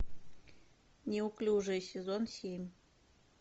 неуклюжая сезон семь